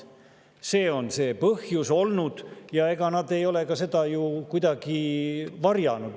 See on olnud see põhjus ja ega nad ei ole seda ju ka kuidagi varjanud.